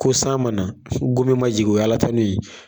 Ko san ma na gomi ma jigi o ye Alatanu ye